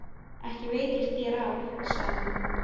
Ekki veitir þér af, sagði hún.